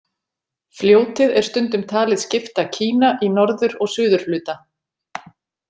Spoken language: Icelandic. Fljótið er stundum talið skipta Kína í norður- og suðurhluta.